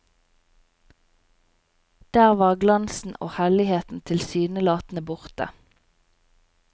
Der var glansen og helligheten tilsynelatende borte.